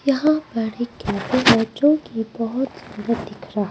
यहां पर एक जो की बहुत सुंदर दिख रहा--